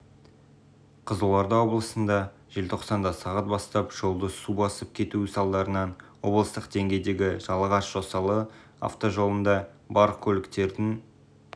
қызылорда облысында желтоқсанда сағат бастап жолды су басып кетуі салдарынан облыстық деңгейдегі жалағаш-жосалы автожолында барлық көліктердің